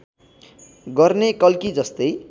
गर्ने कल्की जस्तै